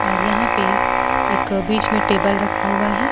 और यहां पे एक बीच में टेबल रखा हुआ है।